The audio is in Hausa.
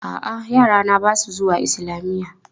A'a, yarana ba su zuwa islamiyya.